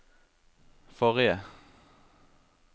forrige